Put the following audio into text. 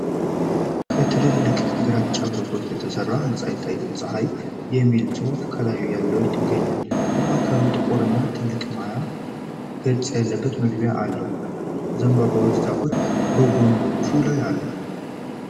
ከትልልቅ ግራጫ ብሎኮች የተሰራ ህንፃ ይታያል፣ "ጸሃይ" የሚል ጽሑፍ በላዩ ላይ ይገኛል። በማዕከሉ ጥቁር እና ትልቅ ማያ ገጽ ያለበት መግቢያ አለው። የዘንባባ ዛፎች በጎኖቹ ላይ አሉ።